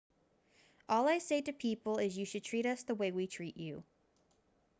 all i say to people is you treat us the way we treat you